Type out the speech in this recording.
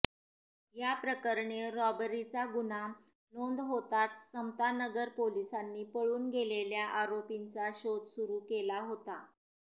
याप्रकरणी रॉबरीचा गुन्हा नोंद होताच समतानगर पोलिसांनी पळून गेलेल्या आरोपींचा शोध सुरु केला होता